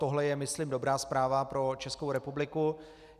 Toto je myslím dobrá zpráva pro Českou republiku.